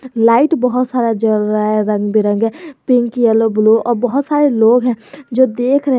Light बहुत सारा जल रहा है रंग बिरंगे पिंक येलो ब्लू और बहुत सारे लोग हैं जो देख रहे हैं।